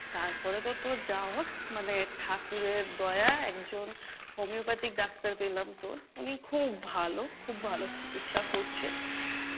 তারপরে তো তোর যা হোক মানে ঠাকুরের দয়া একজন homeopathic ডাক্তার পেলাম, তোর উনি খুব ভালো, খুব ভালো চিকিৎসা করছে,